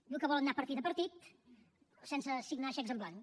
diu que volen anar partit a partit sense signar xecs en blanc